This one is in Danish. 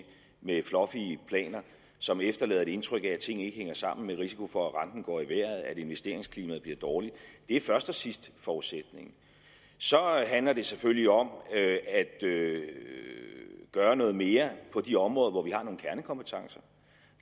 med fluffy planer som efterlader et indtryk af at tingene ikke hænger sammen med risiko for at renten går i vejret og at investeringsklimaet bliver dårligt det er først og sidst forudsætningen så handler det selvfølgelig om at gøre noget mere på de områder hvor vi har nogle kernekompetencer